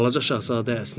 Balaca şahzadə əsnədi.